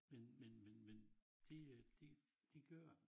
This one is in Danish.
Men men men men de øh de de gør